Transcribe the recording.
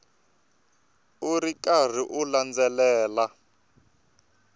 u ri karhi u landzelela